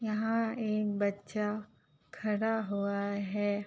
यहाँ एक बच्चा खड़ा हुआ है।